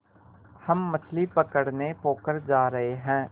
हम मछली पकड़ने पोखर जा रहें हैं